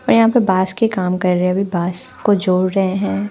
यहाँ पर बांस के काम कर रहे है अभी बांस को जोड़ रहे है।